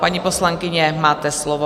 Paní poslankyně, máte slovo.